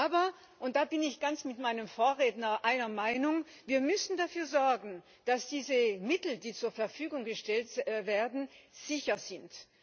Aber und da bin ich mit meinem Vorredner ganz einer Meinung wir müssen dafür sorgen, dass diese Mittel, die zur Verfügung gestellt werden, sicher sind.